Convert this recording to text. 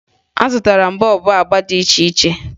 Azụtara m bọọbụ agba dị iche iche